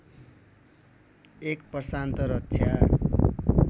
एक प्रशान्त रक्षा